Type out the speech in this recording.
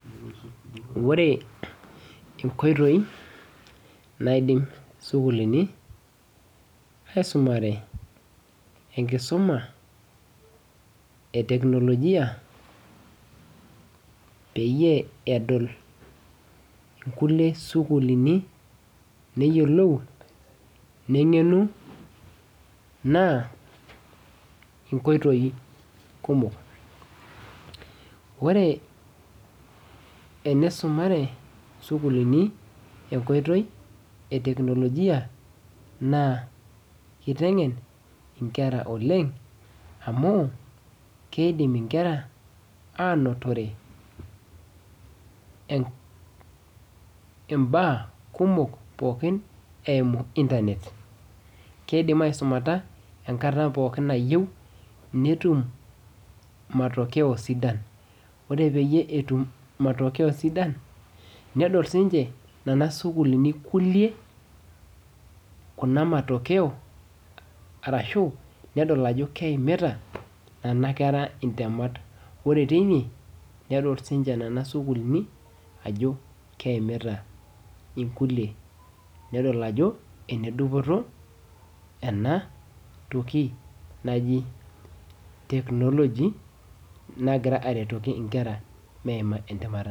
Wore inkoitoi naidim isukulini aisumare enkisuma e teknolojia peyie edol inkulie sukulini neyiolou neng'enu naa inkoitoi kumok ore enisumare sukulini enkoitoi e teknolojia naa iteng'en inkera oleng amu keidim inkera anotore en imbaa kumok pookin eimu internet keidim aisumata enkata pookin nayieu netum matokeo sidan ore peyie etum matokeo sidan nedol sinche nana sukulini kulie kuna matokeo arashu nedol ajo keimita nana kera intemat ore teine nedol sinche nana sukulini ajo keimita inkulie nedol ajo enedupoto enatoki naji technology nagira aretoki inkera meima entemata.